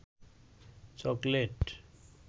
chocolate